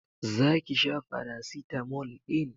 Zaki sha faracetamol din?